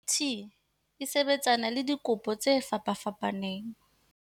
CT e sebetsana le dikopo tse fapafapaneng.